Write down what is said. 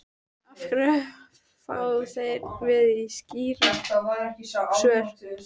En af hverju fá þeir og við ekki skýrari svör?